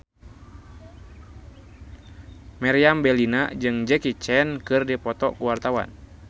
Meriam Bellina jeung Jackie Chan keur dipoto ku wartawan